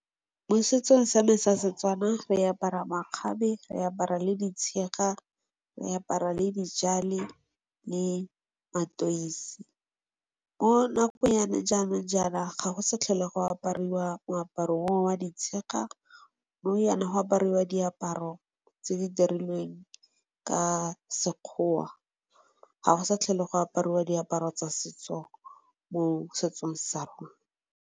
Mo setsong sa me sa setswana re apara makgabe, re apara le di tshega, re apara le di tjale, le matoisi. Mo nakong ya gone jaanong jaana ga go sa tlhole go apariwa wa moaparo o wa di tshega, nou jaana go aparwa diaparo tse di dirilweng ka sekgowa, ga go sa tlhole go aparwa diaparo tsa setso mo setsong sa rona.